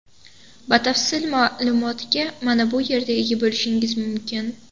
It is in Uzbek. Batafsil ma’lumotga mana bu yerda ega bo‘lishingiz mumkin.